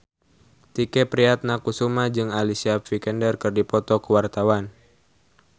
Tike Priatnakusuma jeung Alicia Vikander keur dipoto ku wartawan